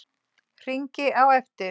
Hringi á eftir